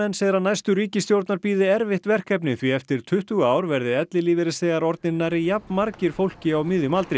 segir að næstu ríkisstjórnar bíði erfitt verkefni því eftir tuttugu ár verði ellilífeyrisþegar orðnir nærri jafn margir fólki á miðjum aldri